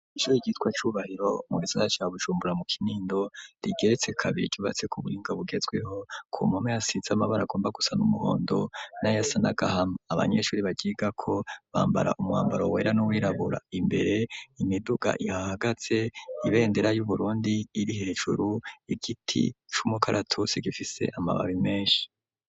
Ishure ryitwa Cubahiro mu gisagara ca Bujumbura mu kinindo rigeretse kabiri ryubatse ku buhinga bugezweho. Ku ruhome hasize amarangi agomba gusa n'umuhondo n'ayasa n'agahama. Abanyeshuri baryigako bambara umwambaro wera n'uwirabura imbere imiduga ihahagaze ibendera y'Uburundi iri hejuru igiti c'umukaratusi gifise amababi menshi.